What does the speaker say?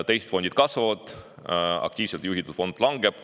Teised fondid kasvavad, aktiivselt juhitud fond langeb.